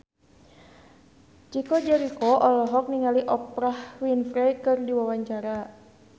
Chico Jericho olohok ningali Oprah Winfrey keur diwawancara